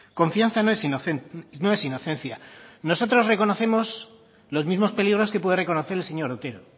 confianza no es inocencia nosotros reconocemos los mismos peligros que puede reconocer el señor otero